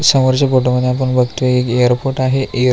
समोरच्या फोटॉमध्ये मध्ये आपण बगतोय की एक एयरपोर्ट आहे एअर --